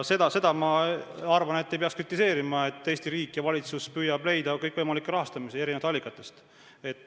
Ja seda, ma arvan, ei peaks kritiseerima, et Eesti riik ja valitsus püüab leida kõikvõimalikke rahastamisi erinevatest allikatest.